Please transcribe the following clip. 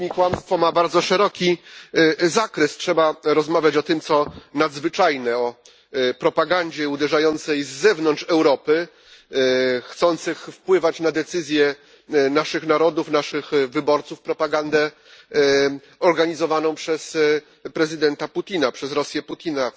Populizm i kłamstwo ma bardzo szeroki zakres. Trzeba rozmawiać o tym, co nadzwyczajne, o propagandzie uderzającej z zewnątrz Europy, chcącej wpływać na decyzje naszych narodów, naszych wyborców, propagandę organizowaną przez prezydenta Putina, przez Rosję Putina.